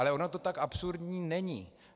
Ale ono to tak absurdní není.